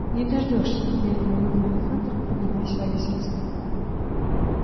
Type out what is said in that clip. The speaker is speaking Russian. не дождёшься медленно выговорил хантер поднимаясь во весь рост